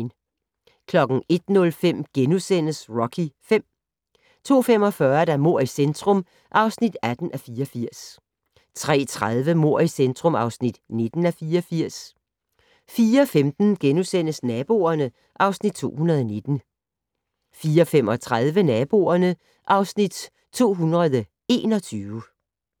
01:05: Rocky V * 02:45: Mord i centrum (18:84) 03:30: Mord i centrum (19:84) 04:15: Naboerne (Afs. 219)* 04:35: Naboerne (Afs. 221)